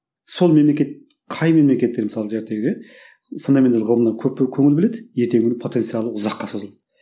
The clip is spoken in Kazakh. сол мемлекет қай мемлекеттер мысалы фундаменталды ғылымға көп і көңіл бөледі ертеңгі күні потенциалы ұзаққа созылады